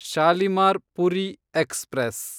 Shalimar Puri express